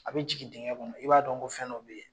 A bɛ jigin dingɛ kɔnɔ i b'a dɔn ko fɛn dɔ bɛ yen